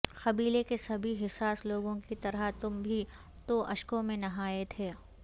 قبیلے کے سبھی حساس لوگوں کی طرح تم بھی تو اشکوں میں نہائے تھے